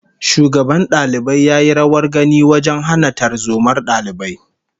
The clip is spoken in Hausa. Shugaban dalibai ya yi rawar gani wajen hana tarzomar dalibai